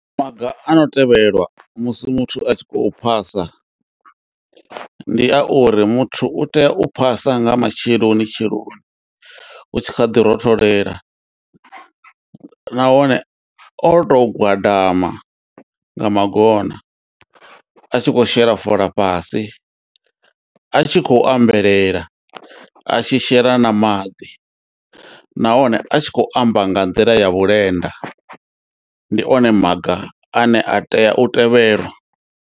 Maga ano tevhelwa musi muthu a tshi khou phasa ndi a uri muthu u tea u phasa nga matsheloni tsheloni hu tshi kha ḓi rotholela nahone o tou gwadama nga magona a tshi kho shela fola fhasi, a tshi khou ambelela, a tshi shela na maḓi nahone a tshi khou amba nga nḓila ya vhulenda. Ndi one maga ane a tea u tevhelwa.